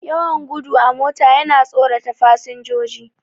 Yawan gudu a mota yana tsorata fasinjoji.